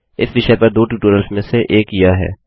इस विषय पर दो ट्यूटोरिटल्स में से एक यह है